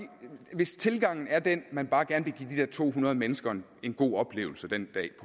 hvis tilgangen er den at man bare gerne vil give de der to hundrede mennesker en god oplevelse den dag